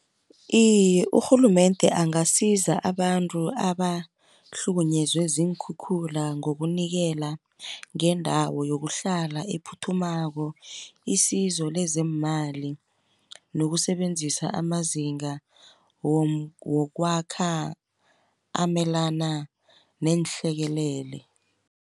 Iye urhulumende angasiza abantu abahlukunyezwe ziinkhukhula ngokunikela ngendawo yokuhlala, ephuthumako isizo lezeemali, nokusebenzisa amazinga wokwakha amelana neenhlekelele.